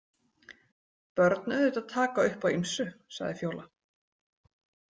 Börn auðvitað taka upp á ýmsu, sagði Fjóla.